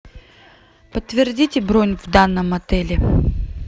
подтвердите бронь в данном отеле